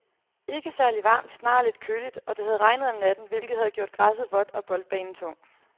Ikke særligt varmt, snarere lidt køligt, og det havde regnet om natten, hvilket havde gjort græsset vådt og boldbanen tung.